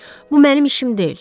Bu mənim işim deyil.